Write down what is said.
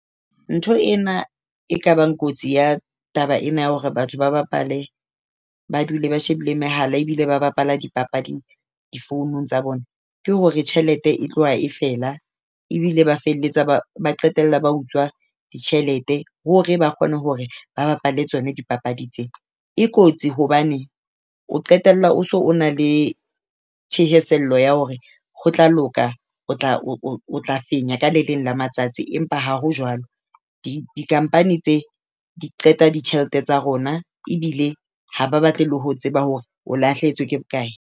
Ntho ena e kabang kotsi ya taba ena ya hore batho ba bapale ba dule ba shebile mehala ebile ba bapala dipapadi difounung tsa bona, ke hore tjhelete e tloha e fela ebile ba felletsa , ba qetella ba utswa ditjhelete hore ba kgone hore ba bapale tsona dipapadi tse. E kotsi hobane o qetella o so o na le thahasello ya hore ho tla loka o tla o tla fenya ka le leng la matsatsi empa ha ho jwalo. Di-company tse di qeta ditjhelete tsa rona ebile ha ba batle le ho tseba hore o lahlehetswe ke bokae.